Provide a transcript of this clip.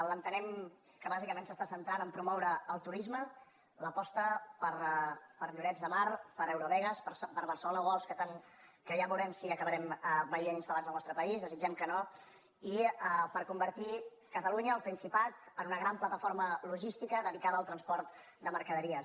l’entenem que bàsicament s’està centrant a promoure el turisme l’aposta per llorets de mar per eurovegas per barcelona worlds que ja veurem si acabarem veient installats al nostre país desitgem que no i per convertir catalunya el principat en una gran plataforma logística dedicada al transport de mercaderies